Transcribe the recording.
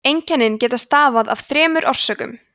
einkennin geta stafað af þremur orsökum